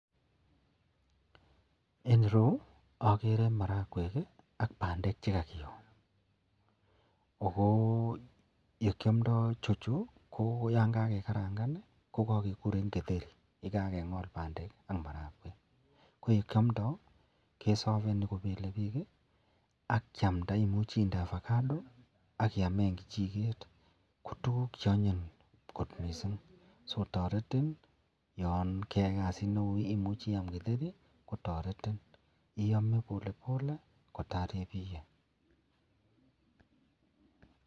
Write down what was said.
En ireyu agere marakwek ak bandek chekakiyo ako yekiamdoi ichochu koyangagekarangan kokakekuren githeri agengol bandek ak marakwek koyekiamdoi keyame kobelebik akiamda akomuch inde avocado akiyamen kichiket akotuguk cheanyin mising sikotareti yangeyai kasit neon imuchi iyam githeri kotaretin akiyame polepole kotar ibiye.